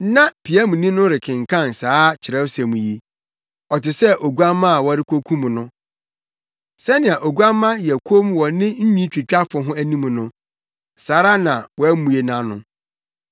Na piamni no rekenkan saa Kyerɛwsɛm yi: “Ɔte sɛ oguamma a wɔrekokum no. Sɛnea oguamma yɛ komm wɔ ne nwitwitwafo anim no, saa ara na wammue nʼano.